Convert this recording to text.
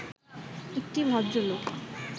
একটি ভদ্রলোক